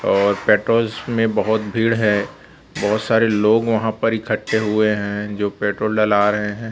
और पेट्रोल्स में बहोत भीड़ है बहोत सारे लोग वहां पर इकट्ठे हुए है जो पेट्रोल डला रहे है।